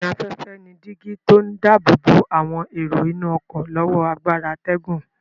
Adènà-afẹ́fẹ́ ni dígí tí ó dáàbò bo àwọn èrò inú ọ̀kọ́ lọ́wọ́ agbára atẹ́gùn.